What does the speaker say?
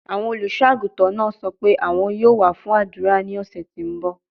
Awọn oluso-aguntan naa sọ pe awọn yoo wa fun adura ni ọsẹ ti n bọ